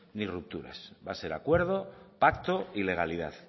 ni rupturas va a ser acuerdo pacto y legalidad